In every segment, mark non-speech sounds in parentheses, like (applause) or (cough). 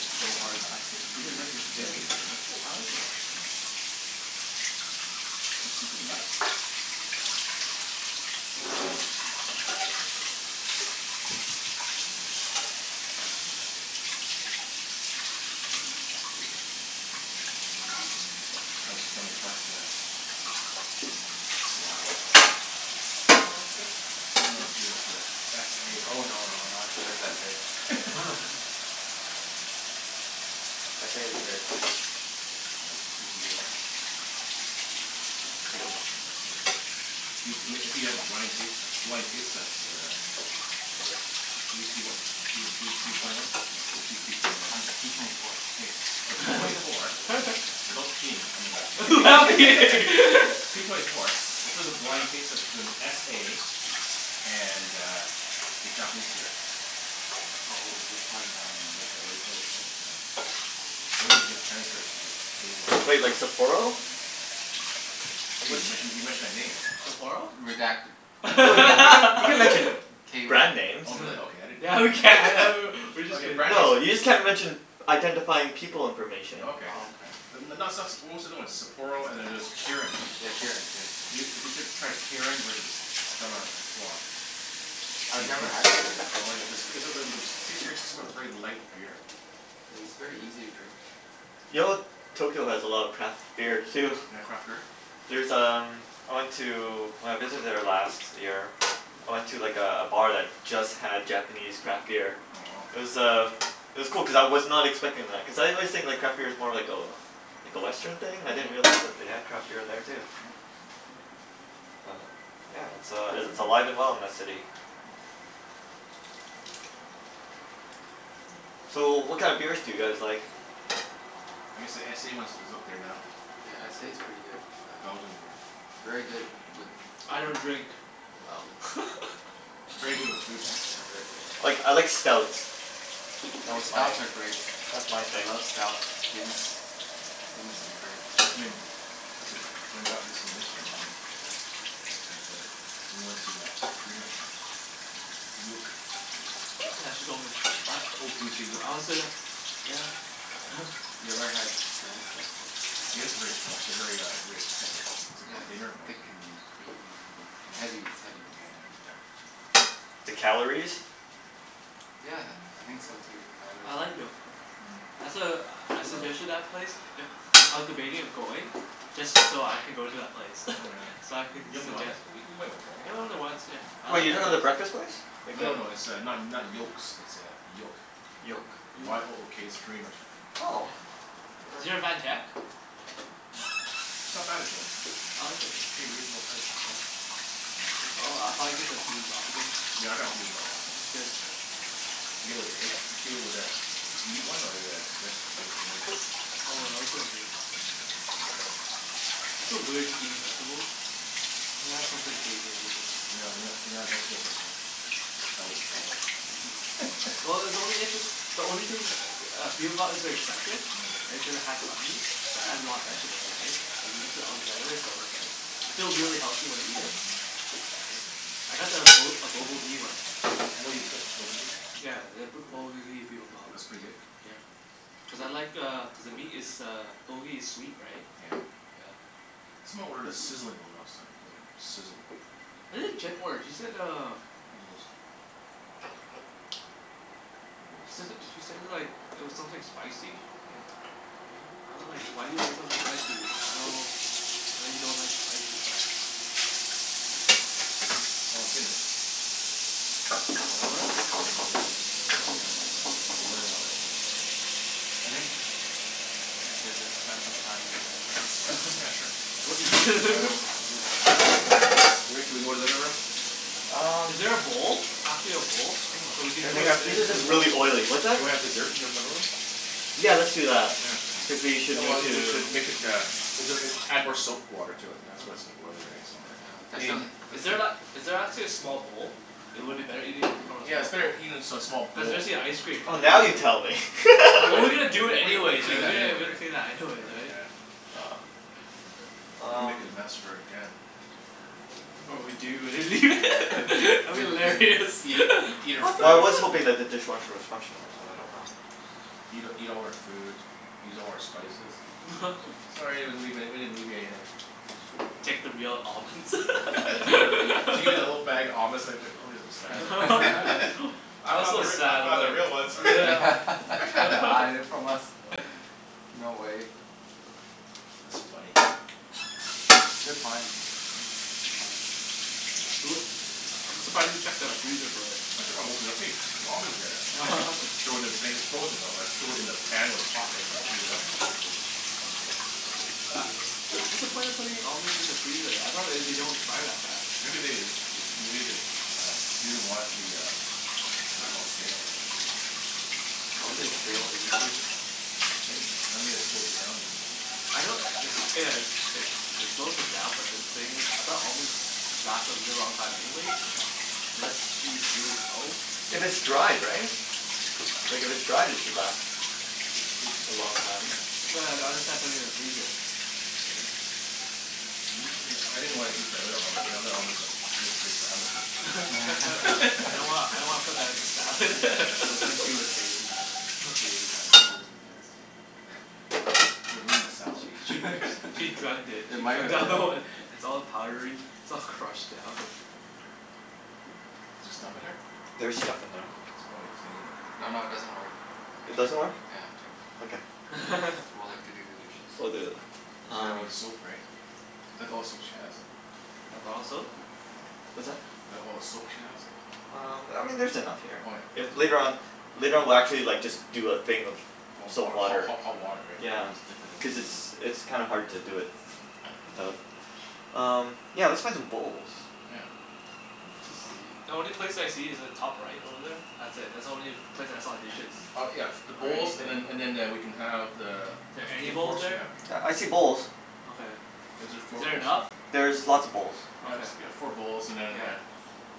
It's so hard not to. You really like those Mm. potatoes, eh Jimmy? I like it though. Yeah. (noise) So simple to make. Yeah. (noise) (noise) How's the Stanley Park uh (noise) Lager? Yeah, that's good. Not as good as the s a Oh right? no, no, not as good as s a (laughs) (laughs) S a is a very crisp (noise) Yeah. clean beer. (noise) Yeah, it's pretty good actually. S a. Do c- if you had a blind taste blind taste test there uh Are you p what? P oh three p twenty one? No, I just use p twenty one and I'm twen- p twenty four. Hey, so p twenty four without (laughs) peeing, I mean I c- (laughs) Without peeing. (laughs) (laughs) P twenty four if it was a blind taste test between s a and uh, the Japanese beer Oh oh, which one? Um Like the whaddya call it you call it? Uh Or is it the Chinese beer? The k one. Wait, like Sapporo? (noise) Hey, you Which mentioned a, you mentioned a name. Sapporo? Redact- No, you can you can you can mention (laughs) b- K one. brand names. Oh really? Okay. uh-huh. I didn't Yeah, we can! A know. (laughs) w- w- we're just Okay, kidding. brand names No, you just a- can't mention identifying people information. Oh, okay. Oh, okay. Yeah (inaudible) N- n- not stuff Sap- but what's the other one? Sapporo and then there's Yeah. Kirin, right? Yeah, Kirin. Kirin's the one. If you if (noise) you s- tried Kirin versus Stella Artois I've could never had c- Kirin, Oh actually. yeah, it's (inaudible) seems pretty smooth. Very light beer. Yeah, is very easy to drink. Yo (noise) Tokyo has a lot of craft beer too. They got craft beer? There's (noise) um, I went to when I visited there last year I went to like a a bar that just had Japanese craft beer. Oh, wow. It was uh, it was cool cuz I was not expecting that. Cuz I always think like craft beer's more like a like a Western thing. I didn't Mhm. realize that they had craft beer there too. (noise) (noise) Oh. But yeah, it's uh i- it's alive and well in that city. (noise) Mm. So, what kind of beers do you guys like? I guess the s a ones is up there now. Yeah, S a's Oh. pretty good. It's a Uh Belgian beer. It's very good with I don't food. drink. With Oh. food. (noise) Very (laughs) good with food, right? Yeah, very good with food. Like, I like stouts. Oh, That's my, stouts are great. that's my I thing. love stouts. Guinness. Guinness is great. (noise) I mean This id- Jenn bought this one yesterday actually. Yeah. A- at the we went to that Korean restaurant. (noise) Yook. Yook. Yeah, she told me. Yeah. A- Oh, can we say Yook? I wanna say uh Yeah. (noise) (laughs) Oh. You ever had Guinness, though? Guinness if very stro- very uh, very thick. It's Yeah, like dinner it's almost. thick and creamy Mm. and Yeah heavy. It's heavy. yeah yeah. (noise) The calories? Yeah, I think so, too. Calories. I like Yook, no. Mm. That's a, I Woah. suggested that place. If I was debating of going just so I can go to that place. (laughs) Oh yeah. So I can You haven't gone there? suggest W- we went went there, right? Yeah, we went there once, yeah. I Wait, like you're that talking about place. the breakfast place? Like No the no no, it's uh not not Yokes, it's uh, Yook. Yoke. (noise) Yook. Y o o k. It's a Korean restaurant. Oh. Yeah. I've Is there a never Van Tech? Oh. It's not bad actually. I like it. It's pretty reasonable priced. Yeah. Oh, I'll probably get the bibimbap again. Yeah, I got the bibimbap last It time. was (noise) good. Yeah. Did you get it with the egg? Did you get it with a meat one or the veg- vegetarian one? Oh, I always got a meat. Oh, yeah, did you? Yeah. I feel weird just eating vegetables. Mm. You have Mm. something savory or something. You're not you're not you're not a vegetable person, huh? I could tell with the salad. Mm. Yeah. (laughs) Well, it's only if it's the only thing the uh, bibimbap is the exception. Mm. Right? Because it has some meat. But it has a lot of vegetables, right? Like, you mix it all together so it's like I feel really healthy when I eat it. Mhm. Right? I got the Bu- a Bulgogi one. Oh, you'd get (inaudible) Yeah, the B- Bulgogi Bibimbap. That's pretty good? Yeah. Cuz I like uh, cuz the meat is uh Bulgogi is sweet, right? Yeah. Yeah. Someone ordered a sizzling one last time. I was like, sizzle. What did Jen order? She said uh I don't know this time. she says it, (inaudible) she said it like it was something spicy? Yeah. (noise) Right? I wa- like, why do you order something spicy? I know know you don't like spicy stuff. Mhm. Oh, it's been a hour and Hour? hour and a bit, right? More than an hour. More than an hour? Mm. Yeah. I think (noise) we should have spent some time in the living room. Yeah, (laughs) sure. What, Well w- you (laughs) let's let's wait Actually for the Rick thing. Rick Rick, can we go to the living room? Um Is there a bowl? Actually a bowl? So we (noise) can Can we Everything's, have (inaudible) these are in a just bowl? really oily. What's that? Can we have dessert in your living room? Yeah, let's do that. Yeah. Cuz Yeah. we should Oh well, move it to we should make it the is it uh add more soap water to it, and that's why it's so Oh. oily, right? So Oh yeah. Yeah, Is In th- definitely. is Let's there la- see is there actually a small bowl? It Oh. would be better eating from a Yeah, it's small bowl. better eating a s- small Cuz bowl. especially ice cream, Oh, right? now you tell me. (laughs) Well we Well, we're gonna do we it we would have anyways, right? cleaned We that gotta anyways, we gotta right? clean that Right, anyways, right? yeah. Yeah. (noise) Don't wanna make Um a mess for Jen. Or we do and then Yeah, lea- (laughs) yeah. that'd be Leave a big hilarious. (laughs) Eat (laughs) her eat her (inaudible) What the Well, I fuck? food. was hoping that the dishwasher was functional but I don't know. Eat eat all her food. (noise) Use all her spices. (laughs) Sorry, we didn't leave any we didn't leave you anything. (noise) Take the real almonds. Yeah right. (laughs) She gets a little bag of almonds (laughs) it's like it's like probably has a sad look on (laughs) (laughs) (laughs) I I was found the so r- I sad found about the real ones. (laughs) (laughs) Yeah. (laughs) She had to hide it from us. (laughs) (noise) No way. (noise) That's funny. (noise) Yeah. Good find. Good find. (noise) (noise) Yeah, who u- I I'm surprised you checked the freezer for it. I ch- I opened it up. Hey, there's almonds in here. (laughs) (laughs) Throw it in the thing it's frozen though, that's throw it in the pan when it's hot, right? Just Oh heat it yeah. up. U- what's the point of putting almonds in the freezer? I thought they d- don't expire that fast. Maybe they th- they made this uh, she doesn't want it to be uh whaddya call it? Stale, right? Don't Don't they they Taste stale in the freezer? They shouldn't, right? I mean it slows it down maybe, right? I know i- it's yeah it's it it slows it down but then the thing is, I thought almonds lasted a really (noise) long time anyways? Yeah. Unless she eats really slow? If it's Mm. dried, right? Like, if it's dried it should last Sh- should be. a long time. Yeah, that's why I I don't understand putting it in the freezer. Right? I used some of your, I didn't wanna eat the other almonds, the other almonds like looked pretty sad looking. (laughs) I don't (laughs) wanna, I don't wanna put that in the salad. It looked like (laughs) she (laughs) was saving that. If we (laughs) ate that it would have been devastating. Yeah. It would've ruined my She she salad. (laughs) she (laughs) drugged it. It She might drugged have, all the yeah. one. It's all powdery. It's all crushed down. Is there stuff in Hmm, there? there's stuff in there. It's probably clean. No, no it doesn't work. I It checked. doesn't work? Yeah, I checked. Okay. We'll have to do (laughs) the dishes. We'll do It's it. fine. She doesn't have any Um soap, right? Is that the all the soap she has? That bottle soap? Yeah. What's that? Is that all the soap she has? Um, I mean there's enough here. Oh yeah I- Oh later yeah. on, (inaudible) later on we'll actually like just do a thing of Of wa- soap ho- water. ho- hot water, right? Yeah. We'll just Yeah. dip it in, we'll Cuz leave it's it it's kinda hard to do it Yeah. without. (noise) Um, yeah, let's find some bowls. Yeah. Jus- Sweet. the only place I see is the top right over there. That's it. That's the only place I saw dishes. (noise) Oh, yeah, the Or bowls anything. and then and then eh- we can have the Is the there f- any the bowls forks we there? have. Yeah, I see bowls. Okay. Is there four Is there bowls? enough? There's lots of bowls. I Okay. guess we got four bowls and then Yeah. uh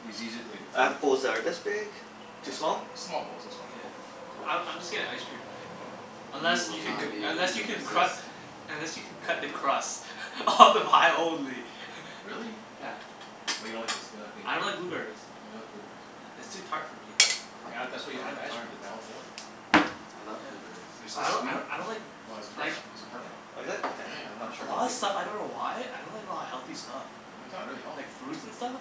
yous easy it to g- I have bowls that are this big. Yeah, Too that's small? fine. Small bowls. That's fine. Yeah. Small bowls? I I'm just getting ice cream, right? Yeah. Unless You will you can c- not be able unless to you can resist. cru- unless you can cut the crust (laughs) off the pie only. (laughs) Really? Yeah. What, you don't like the s- you don't like being I don't like a blueberries. Oh, you don't like blueberries? Yeah, it's too tart for me. You What? add that's why you I don't add the like ice cream, tart. to balance it Oh. out. I love Yeah. blueberries. They're so I d- sweet. I d- (noise) I don't like Well this is like perfect. These are Yeah? perfect. Oh, is it? Yeah, Okay. I'm yeah. not For sure a how lot sure. of big y- stuff. I don't know why. I don't like a lot of healthy stuff. Really? It's not really healthy. Like fruits and stuff.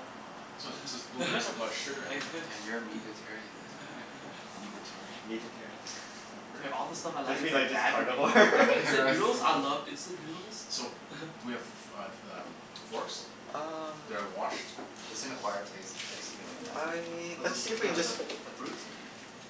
(inaudible) blueberries have a lot of sugar in it. Yeah. Yeah, you're a Mhm. meatetarian, that's why. (laughs) (laughs) Meatetarian. Meatetarian? Yeah. Is that a word? There, all the stuff I (laughs) Don't like you is mean like like just bad for me. carnivore? (laughs) (laughs) Like It's instant noodles? a I word. love instant noodles. So, do (laughs) we have f- f- (noise) uh, um, forks? Um That are washed? It's an acquired taste. I used to be like that too. I, A let's bl- see if we can uh just the bl- Yeah. the fruits?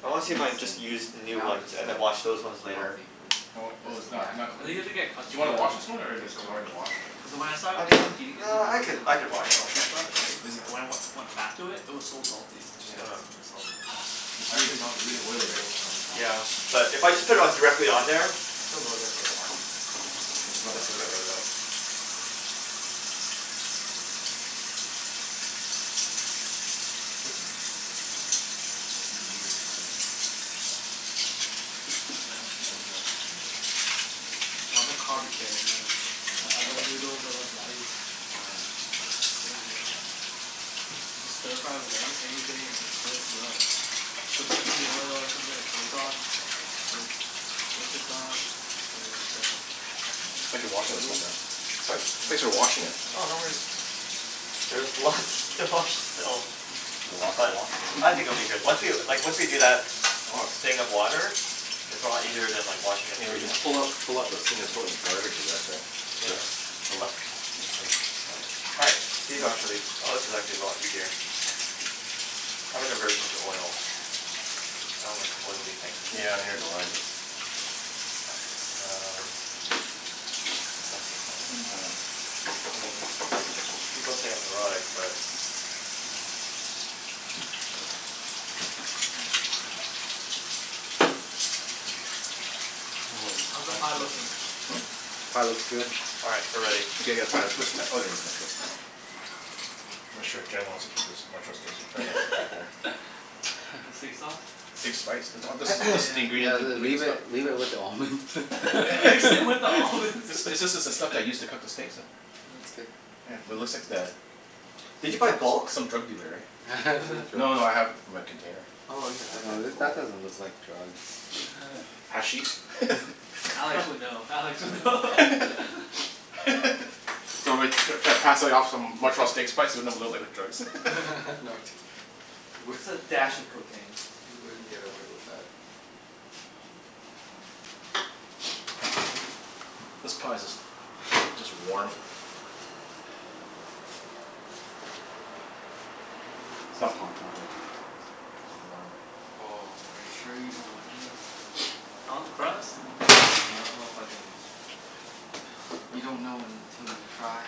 I wanna see if I Fruits can (noise) just use and new now I ones just and then love wash those ones later. healthy foods. Oh This Mm. oh is it's not not natural. (noise) I think you clean? have to get Do you accustomed to wanna it, wash this Yeah, Yeah. one yeah. or it's takes a too while. hard to wash? (noise) Cuz when I st- I mean stopped eating instant yeah, I noodles could, and I like could a lot of wash them salty stuff, right? Is it When th- I wen- (inaudible) went back to it it was so salty. I just Yeah, gotta it's super salty. Yeah. It's I really actually don't really eat oily, instant right? noodles, or Oh, yeah. McDonald's, or anything But like if I just that. put it on Mhm. directly on there I still go there for a coffee, but It's Mm. rubbed this will through get it. rid (inaudible) of it. Meat meatetarian. I'll take out the (noise) Well, I'm a carbetarian, really. I I Yeah. love Carbetarian. noodles. I love rice. Oh yeah, Yeah. rice is good. Sounds good. You just stir-fry with anyth- anything and it's good to go. Some sesame oil or something, or soy sauce. Good. Oyster sauce. Or like the Yeah. Thanks for the washing this stuff, noodles. man. Sorry? Thanks for stir-fry, washing shit it. is done. Oh, no worries. There's lots to wash still. Is there lots to But wash? I think it'll be good. Once we, like once we do that Oh, it's thing of water it's a lot easier than washing it And we can freehand, so pull out pull out those things and throw it in the garbage I guess, right? Yeah. (inaudible) (noise) All right, these are actually, oh, this is actually a lot easier. I have an aversion to oil. I don't like oily things. Yeah, neither do I l- (noise) Um (noise) Happened (inaudible) the I mean people say I'm neurotic but (noise) Mm. Holy, How's the pie pie looks good. looking? (noise) Hmm? Pie looks good. All right, we're ready. (noise) Okay, gotta find a twist ti- oh, there's my twist tie. I'm not sure if Jen wants to keep this Montreal steak sp- you (laughs) probably wanna take it home. The (laughs) steak sauce? Steak spice. This Oh, al- this spice? Yeah this is yeah the (noise) yeah. Yeah, ingredient l- to make the leave it stuff. leave it with the Yeah. (noise) almonds. (laughs) Mix it with the almonds. (laughs) This is this is the stuff they (laughs) use to cook the (laughs) steaks in Yeah. It's good. Yeah. It looks like the Did you n- buy tr- bulk? s- some drug dealer, eh? (laughs) (laughs) No no no, I (inaudible) have it my container. Oh yeah, okay. No, th- Cool. Mm. that doesn't look like drugs. (laughs) (noise) Hashish? (laughs) (laughs) Alex would (laughs) know. I Alex would would know. know. (laughs) (laughs) (noise) (laughs) Do you want me t- to try pass like off some Montreal steak spice and make it look like drugs? (laughs) No (laughs) t- you w- Just a dash of cocaine. You wouldn't (noise) get away with that. (noise) This pie's (noise) just just warm. It's not hot, I don't think. It's warm. Oh, are you sure you don't want any of that? (noise) I want the crust. (noise) I don't know if I can You don't know (noise) until you try.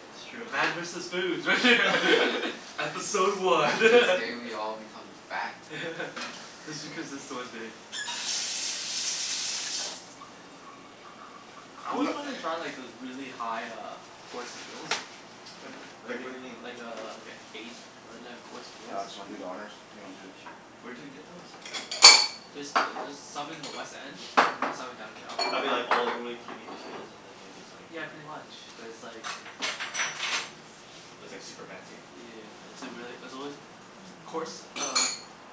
That's true. Man (laughs) versus food. Yeah. (laughs) Episode (laughs) one. After this day (laughs) we all become fat. (laughs) Just because it's the one day. (laughs) Yeah. I Coming always up. (noise) wanted to try like those really high uh course meals. Like w- like Like what do you mean? i- like a like i- eight or eleven course Hey meals. Alex, you wanna do the honors? If you wanna do this Sure. Where do you get those? There's th- there's some in the West End. (noise) Mhm. There's some in downtown. Are they like all like really tiny dishes and then they just like Yeah, Mm. pretty much but it's like That's cool. it's But it's like super fancy? yeah. It's a really, it's always t- course uh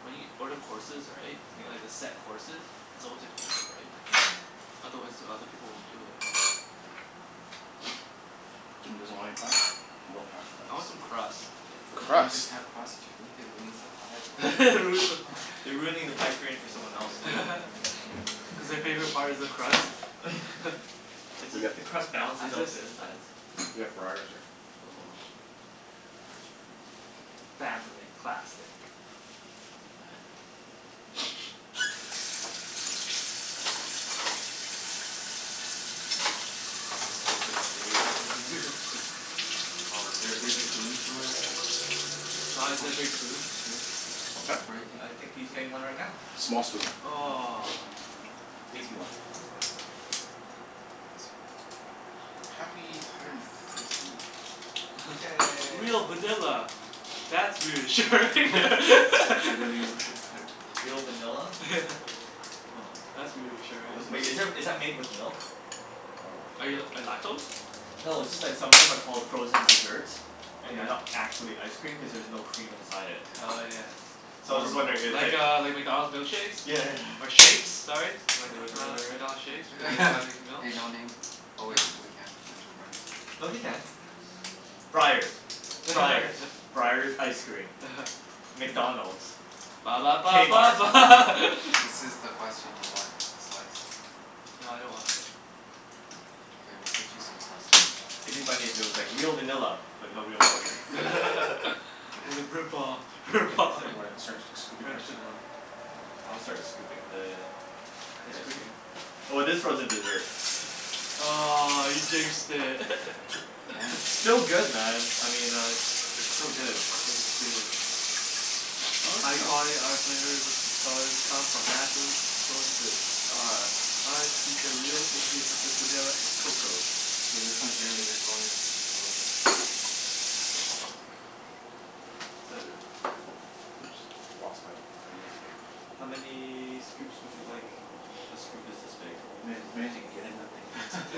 when you order courses, right? Yeah. Like the set courses? It's always expensive, right? Mm. Otherwise other people won't do it, right? (noise) Jimmy doesn't want any pie? More pie for I want some us. crust. That's You it. can't just Crust? have crust, Jimmy. It ruins the pie (laughs) for It everyone ruins the else. (noise) pie. (laughs) You're ruining the pie experience for someone else, Yeah. too. (laughs) Cuz their favorite part is the crust? (laughs) (laughs) It's We got just the crust I balances out just the I insides. We have (noise) Breyers here. Oh. Oh. French vanilla. Family classic. (noise) I Oh, I'm hope it feeling stays together. (inaudible) Oh, is there a big (noise) spoon somewhere there? Don, is Aha. there a big spoon? Shit. It's Huh? breaking. Uh, I think he's getting one (noise) right now. Small spoon. Oh. Aw. (noise) Dinky one. That's good. That's fine. Yeah, Happy you hundred didn't and have to deal with fifty. it. (laughs) Yay. Real vanilla. (noise) That's reassuring! (laughs) Is it (laughs) really were their there? Real (noise) vanilla? (laughs) Yeah. Oh. That's reassuring. Wow, Wait, this is there, thing's is that made with milk? Probably. Are you l- lactose? No, it's just that some of them are called frozen dessert and they're Yeah. not actually ice cream cuz there's no cream inside it. Oh Yeah. yeah. (noise) So I was Or just milk. wondering if it's like Like uh like McDonald's milkshakes? Yeah. Or shakes, sorry. Am I d- Or am I whatever al- they're at. McDonald's shakes? (laughs) Hey no (inaudible) (noise) name. Oh wait, (noise) we can mention brand names here. No, we can. Yeah. Breyers. Yeah. Yeah. Breyers. (laughs) Breyers ice cream. uh-huh. McDonald's. Ba ba ba ba K-Mart. ba Hey (laughs) Jimmy. This is the question. Do you want a slice? Nah, I don't wanna (inaudible) K, we'll cut you some crust then. It'd be funny if it was like, (noise) "Real vanilla but no real milk." (laughs) (laughs) Jim. It's a rip-off. Thank you, rip-off. sir. You wanna start sc- scooping French yours? vanilla. Yeah. I'll start scooping the the Ice ice cream? cream. Oh, it is frozen dessert. (laughs) Aw, you jinxed it. Damn it, It's (laughs) still Jimmy. good, man. I mean I It's still good. Jinxed it. High quality. Our flavors colors come from natural sources. Our products feature real ingredients such as vanilla and cocoa. Okay, this one Jimmy's, this one is a little bit (noise) Oops, lost my thing here. How many scoops would you like? (noise) A scoop is this big. As many as many as you can get in that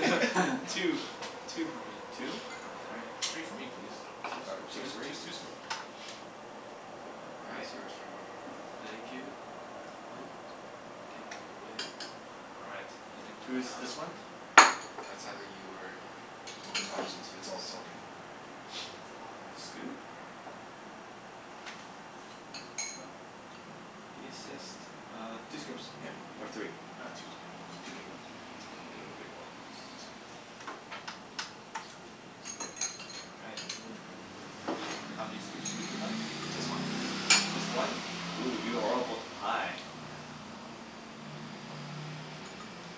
(laughs) All right. (noise) Two. (laughs) (noise) Two for me. Two? All right. Yeah. Three for me please. Two All right, scoops two's of two's Yeah. raisins two's good. (noise) All That right. is yours, Jimbo. Thank you. I'll grab it. Get outta your way. All right. And into my Who's mouth. this one? That's either Mm. you or p Open mouths, twenty it's two's. all it's all good. (noise) One scoop. (noise) If you insist. Uh, two scoops Yeah. or three? Ah, two's good. K. Two big ones. That's good. Two big ones. That's good. That's perfect. Yep. Thanks. All right. How many scoops would you like? Just one, please. Just one? Yeah. Ooh, you are all about the pie. Yeah.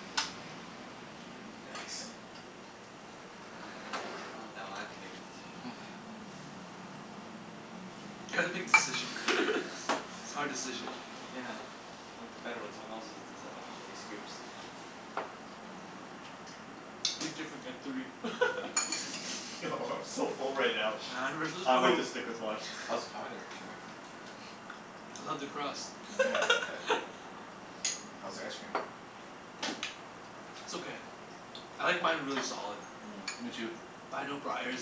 (noise) There we go. And oh, now I have to make a decision. (laughs) You have to make decision. (laughs) It's hard decision. Yeah, I liked it better when someone else was deciding how many scoops. (noise) (noise) Be different. Get three. (noise) (laughs) No, (laughs) I'm so full right now. Man versus I might foo- just stick with one. How's the pie there, Jimmy? (laughs) (noise) I love the crust. Nyeah. (laughs) (laughs) How's the ice cream? (noise) It's okay. Mm. I like mine really solid. Mm, me too. But I know Breyers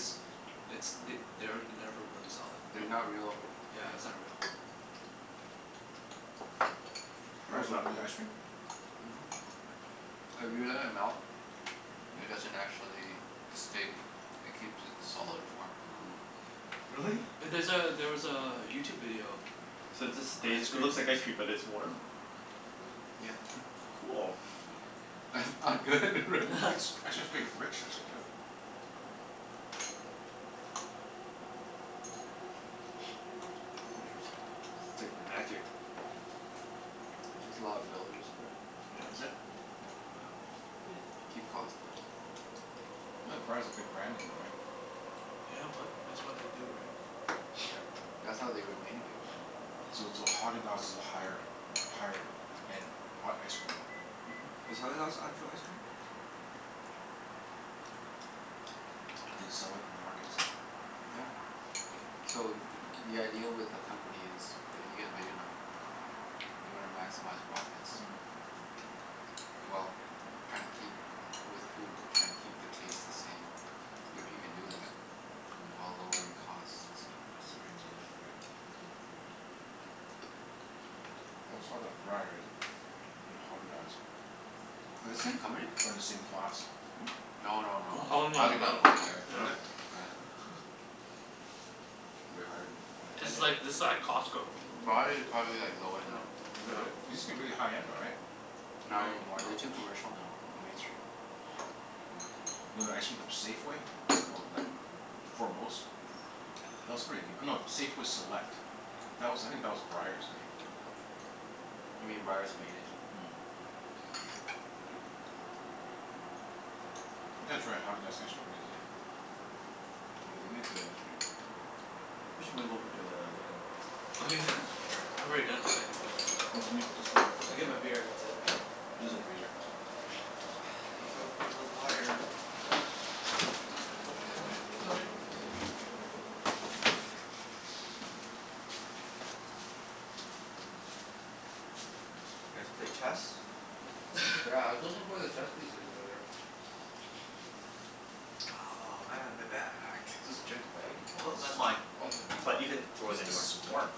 it's th- they're never really solid. They're not No? real Yeah, cream. it's not real. (noise) (noise) Breyers not really ice (inaudible) cream? Mhm. (noise) If you let it Hmm. melt (noise) it doesn't actually, Hmm? it stay (noise) it keeps its solid Mm. form. Yeah. (noise) Really? Yeah, there's a, there was a YouTube video. So it just On stays, ice it cream. looks like ice cream but it's warm? (noise) Yeah. (laughs) Cool. (noise) (noise) That's not good, real (noise) Actually it's pretty (laughs) rich, actually, too. (laughs) (noise) Interesting. It's like magic. (noise) There's (noise) a lot of Magic. fillers, right? (noise) (noise) Yeah. Is it? Yep. Yeah. (noise) Keep cost down. (noise) I thought Breyers is a big brand name though, right? (noise) Yeah, but that's why they do, right? (noise) Yeah, that's how they remain a big brand name. (noise) So so Häagen-Dazs is a higher higher end ha- ice cream then? (noise) (noise) Mhm. Is Häagen-Dazs actual ice cream? (noise) Do they sell it in the markets? (noise) Yeah. So (noise) the idea with a company is when you get big enough you wanna maximize profits. Mm. (noise) Well, trying to keep, with food, trying to keep the taste the same. If you can do that while lowering costs (noise) Yeah, that's the ideal thing, right? (noise) (noise) Always thought that Breyers and Häagen-Dazs Are the same company? (noise) are in the same class. (noise) No no no. Oh, no Häagen-Dazs No? is no. way higher. Yeah. Is it? Yeah. (laughs) Way higher than, oh (noise) I This yeah. is didn't like, this know is that like about Costco. Breyers is probably like low Yeah, end. Is it really? It yeah. used to be Yeah. really high-end though, right? Not any No, more. no. They're (noise) too commercial now and mainstream. Mm. (noise) You know that ice cream from Safeway? What's it called, um Foremost? That was pretty goo- no, Safeway Select. That was I think that was (noise) Breyers, I think. (noise) You mean Breyers made it? (noise) Mhm. (noise) I gotta try Häagen-Dazs ice cream one of these days. Oh, they (noise) make good ice cream. (noise) We should move over to the living room. (noise) (noise) (noise) Oh. Oh yeah. (noise) Sure. I've already done mine anyway. Well, let me put this in Let me there get my beer, (inaudible) that's it. Put this in the freezer. Watch out (noise) for the l- wires and (noise) The Oh (inaudible) cup? towel, Oh. put Mm. it over here. (noise) You guys play chess? Yeah, I was looking (laughs) for the chess pieces earlier. (noise) Oh, man, my back. Is this Jen's bag? Woah, Oh, this is that's mine. Oh, is it? But you can throw What it is, this anywhere. is warm?